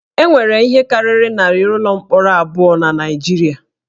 E nwere ihe karịrị narị ụlọ mkpọrọ abụọ na Naịjirịa